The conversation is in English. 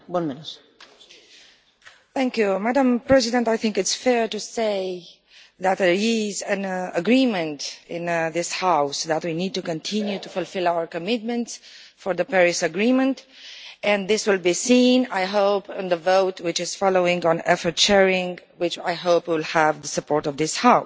Madam President, I think it is fair to say that there is an agreement in this House that we need to continue to fulfil our commitments to the Paris Agreement, and I hope this will be seen in the vote which is following on effort sharing, which I hope will have the support of this House. The problem still exists